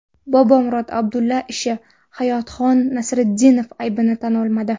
Bobomurod Abdulla ishi: Hayotxon Nasriddinov aybini tan olmadi .